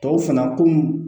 Tɔw fana komi